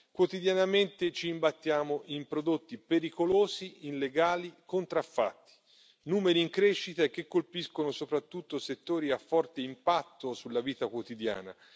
Quotidianamente ci imbattiamo in prodotti pericolosi, illegali, contraffatti, numeri in crescita e che colpiscono soprattutto settori a forte impatto sulla vita quotidiana.